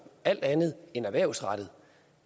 alt andet end erhvervsrettet